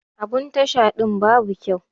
Abun Tasha din babu kyau.